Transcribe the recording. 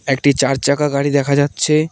একটি চারচাকা গাড়ি দেখা যাচ্ছে।